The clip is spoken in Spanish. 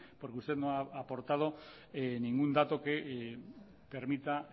porque usted no ha aportado ningún dato que permita